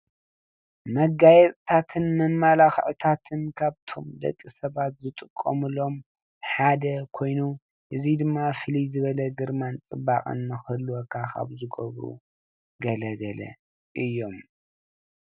መጋየፅታትን መመላክዕታትን ካብቶም ደቂ ሰባት ዝጥቀሙሎም ሓደ ኮይኑ እዚ ድማ ፍልይ ዝበለ ግርማን ፅባቐን ንክህልወካ ካብ ዝገብሩ ገለ ገለ እዮም፡፡